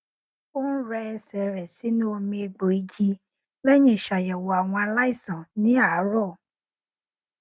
ó n rẹ ẹsẹ rẹ sínú omi egbò igi lẹyìn ìṣàyẹwò àwọn aláìsàn ní àràárọ